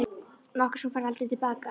Nokkuð sem þú færð aldrei til baka.